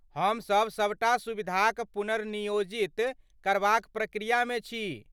हमसभ सभटा सुविधाक पुनर्नियोजित करबाक प्रक्रियामे छी।